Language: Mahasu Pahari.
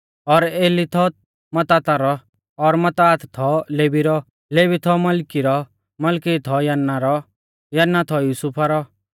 और एली थौ मत्ताता रौ और मत्तात थौ लेवी रौ लेवी थौ मलकी रौ मलकी थौ यन्ना रौ यन्ना थौ युसुफा रौ